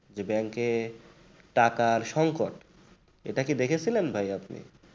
যে bank টাকার সংকট এটা কি দেখেছেন ভাই আপনি?